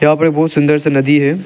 यहां पे बहुत सुन्दर सा नदी है।